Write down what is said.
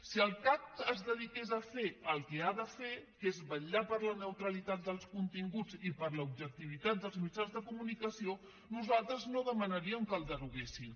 si el cac es dediqués a fer el que ha de fer que és vetllar per la neutralitat dels continguts i per l’objectivitat dels mitjans de comunicació nosaltres no demanaríem que el deroguessin